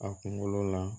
A kunkolo la